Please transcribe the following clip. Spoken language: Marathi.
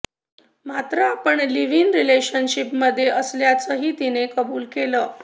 मात्र आपण लिव्ह इन रिलेशनशिपमध्ये असल्याचंही तिनं कबुल केलं